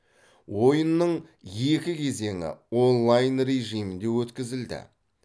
ойынның екі кезеңі онлайн режимінде өткізілді